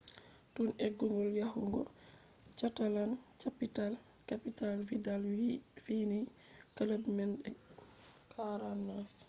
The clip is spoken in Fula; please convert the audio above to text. tun eggugo yahugo catalan-capital vidal fiyini club man de 49